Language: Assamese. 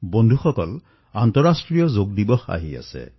বন্ধুসকল আন্তৰাষ্ট্ৰীয় যোগ দিৱস আহি আছে